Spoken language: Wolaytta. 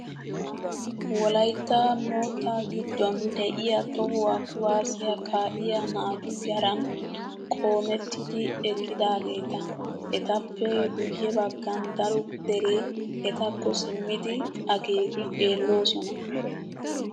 Wolayitta moottaa giddon diyaa tohuwaa kuwaazziyaa kaa'iyaa naatu yaran qoomettidi eqqidaageeta. Etappe guyye baggan daro deree etakko simmidi akeeki xeellosona.